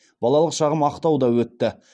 балалық шағым ақтауда өтті